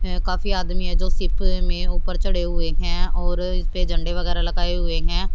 हैं काफी आदमी हैं जो शिप में ऊपर चढ़े हुए हैं और इस पे झंडे वगैरह लगाए हुए हैं।